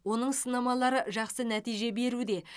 оның сынамалары жақсы нәтиже беруде